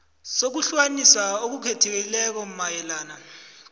sokuhlukaniswa okukhethekileko mayelana